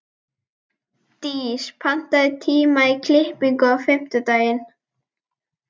Dís, pantaðu tíma í klippingu á fimmtudaginn.